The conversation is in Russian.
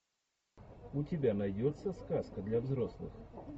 у тебя найдется сказка для взрослых